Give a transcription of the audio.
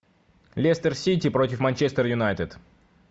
лестер сити против манчестер юнайтед